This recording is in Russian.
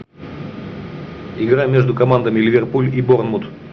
игра между командами ливерпуль и борнмут